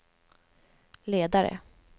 ledare